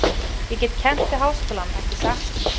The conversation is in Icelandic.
Ég get kennt við háskólann, ekki satt?